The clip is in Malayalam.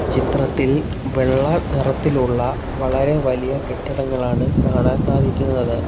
ചിത്രത്തിൽ വെള്ള നിറത്തിലുള്ള വളരെ വലിയ കെട്ടിടങ്ങളാണ് കാണാൻ സാധിക്കുന്നത്.